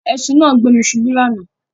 Ẹṣìn náà gbé mi ṣubu lánàá